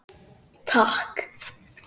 Takk